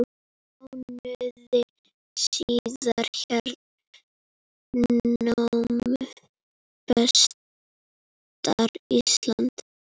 Mánuði síðar hernámu Bretar Ísland.